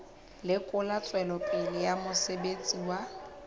lekola tswelopele ya mosebetsi wa